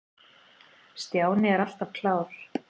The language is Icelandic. Stjáni er alltaf klár.